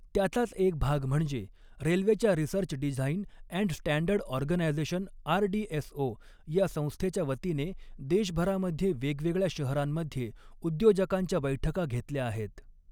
त्याचाच एक भाग म्हणजे रेल्वेच्या research design and standard organisation RDSO या संस्थेच्या वतीने देशभरामध्ये वेगवेगळ्या शहरांमध्ये उद्योजकांच्या बैठका घेतल्या आहेत.